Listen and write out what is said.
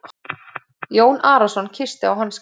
Jón Arason kyssti á hanskann.